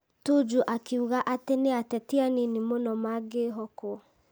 Tuju akiuga atĩ nĩ ateti anini mũno mangĩĩhokwo.